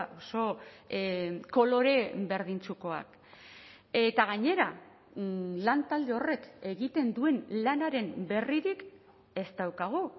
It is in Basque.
oso kolore berdintsukoak eta gainera lantalde horrek egiten duen lanaren berririk ez daukagu